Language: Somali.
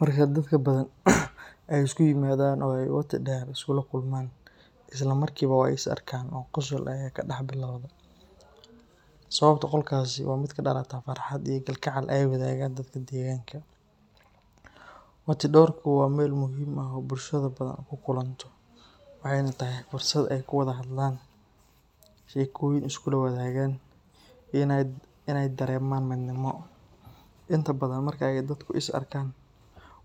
Marka dadka Badhan ay isku yimaadaan oo ay wati dher iskula kulmaan, isla markiiba way is arkaan oo qosol ayaa ka dhex bilowda. Sababta qosolkaasi waa mid ka dhalata farxad iyo kalgacal ay wadaagaan dadka deegaanka. Wati dherku waa meel muhiim ah oo bulshada Badhan ku kulanto, waxayna tahay fursad ay ku wada hadlaan, sheekooyin iskula wadaagaan, iyo inay dareemaan midnimo. Inta badan, marka ay dadku is arkaan,